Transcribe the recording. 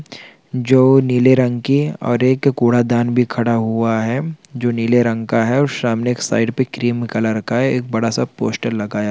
जो नीले रंग की और एक कूड़ादान भी खड़ा हुआ है जो नीले रंग का है और सामने के साइड पे क्रीम कलर का है एक बड़ा सा पोस्टर लगाया गया हैं।